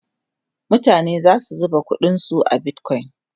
mutane na ta zuba ƙuɗin su a bitcoin